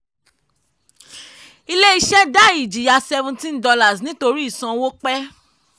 ilé-iṣẹ́ dá ìjìyà seventeen dollars nítorí ìsanwó pẹ̀.